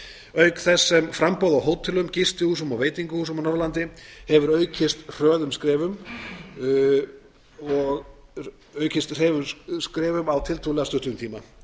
auk þess sem framboð á hótelum gistihúsum og veitingahúsum á norðurlandi hefur aukist hröðum skrefum á tiltölulega stuttum tíma